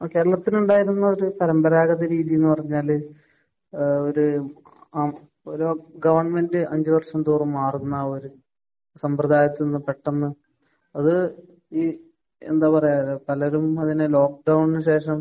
Okay. അന്നത്തെ ഉണ്ടായിരുന്ന ഒരു പരമ്പരാഗത രീതിയെന്ന് പറഞ്ഞാൽ ഏഹ് ഒരു അഹ് ഒരു ഗവൺമെന്റ് അഞ്ച് വര്ഷം തോറും മാറുന്ന ഒരു സമ്പ്രദായത്തിൽ നിന്ന് പെട്ടെന്ന് അത് ഈ എന്താ പറയാ പലരും അതിനെ ലോക്കഡൗണിന് ശേഷം